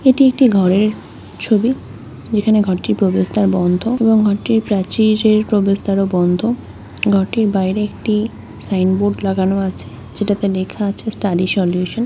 এটি একটি ঘরের ছবি যেখানে ঘরটির প্রবেশদ্বারও বন্ধ এবং ঘরটির প্রাচীরের প্রবেশদ্বারও বন্ধ ঘরটির বাইরে একটি সাইনবোর্ড লাগানো আছে সেটাতে লেখা আছে স্টাডি সল্যুশন।